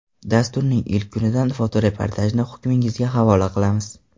Dasturning ilk kunidan fotoreportajni hukmingizga havola qilamiz.